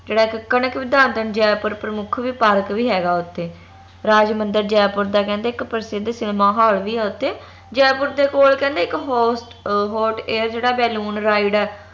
ਜਿਹੜਾ ਇਕ ਜੈਪੁਰ ਪ੍ਰਮੁੱਖ ਵੀ ਪਾਰਕ ਹੈਗਾ ਓਥੇ ਰਾਜਮੰਦਰ ਜੈਪੁਰ ਦਾ ਕਹਿੰਦੇ ਇਕ ਪ੍ਰਸਿੱਧ cinema hall ਵੀ ਹੈ ਓਥੇ ਜੈਪੁਰ ਦੇ ਕੋਲ ਕਹਿੰਦੇ ਇਕ ਹੌਟ ਅਹ hot air ਜੇਹੜਾ balloon ride ਆ